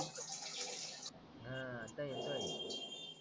हा आता येतोय